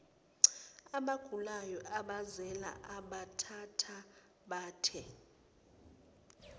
abagulayo abazele abathathabathe